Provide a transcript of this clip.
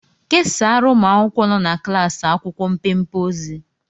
Kesaara ụmụ akwụkwọ nọ na klaasị akwụkwọ mpempe ozi